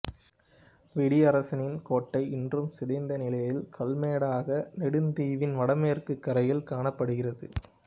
வெடியரசனின் கோட்டை இன்றும் சிதைந்த நிலையில் கல்மேடாக நெடுந்தீவின் வடமேற்குக் கரையில் காணப்படுகிறது